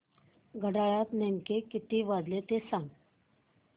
घड्याळात नेमके किती वाजले ते सांग